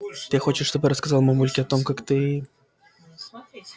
ты хочешь чтобы я рассказала мамульке о том как ты